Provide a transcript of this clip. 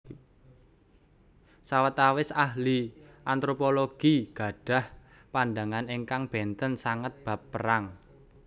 Sawetawis Ahli Antropologi gadhah pandhangan ingkang bènten sanget bab perang